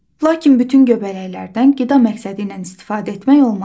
Lakin bütün göbələklərdən qida məqsədi ilə istifadə etmək olmaz.